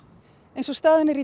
eins og staðan er